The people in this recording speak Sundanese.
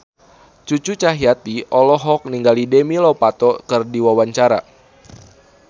Cucu Cahyati olohok ningali Demi Lovato keur diwawancara